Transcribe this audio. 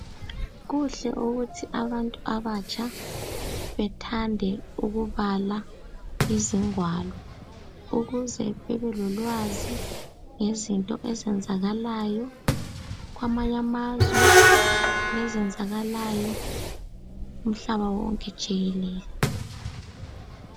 Kuhle ukuthi abantu abatsha bethande ukubala izingwalo ukuze bebelolwazi ngezinto ezenzakalayo kwamanye amazwe lezenzakalayo umhlaba wonke jikelele.